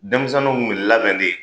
Denmisɛnninw b'u labɛn de